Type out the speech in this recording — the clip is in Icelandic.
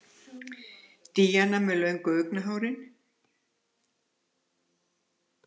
Díana með löngu augnahárin.